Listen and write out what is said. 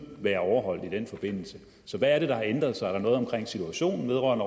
overholdes i den forbindelse så hvad er det der har ændret sig er der noget omkring situationen vedrørende